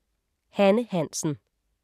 Hanne Hansen